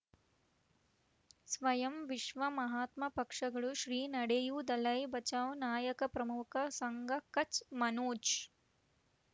ಸ್ವಯಂ ವಿಶ್ವ ಮಹಾತ್ಮ ಪಕ್ಷಗಳು ಶ್ರೀ ನಡೆಯೂ ದಲೈ ಬಚೌ ನಾಯಕ ಪ್ರಮುಖ ಸಂಘ ಕಚ್ ಮನೋಜ್